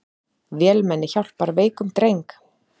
Vélmenni hjálpar veikum dreng